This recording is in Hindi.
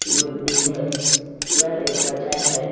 मिलती है। यह एक बाजार है।